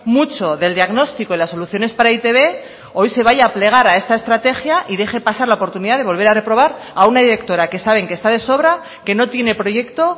mucho del diagnóstico y las soluciones para e i te be hoy se vaya a plegar a esta estrategia y deje pasar la oportunidad de volver a reprobar a una directora que saben que está de sobra que no tiene proyecto